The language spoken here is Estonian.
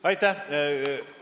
Aitäh!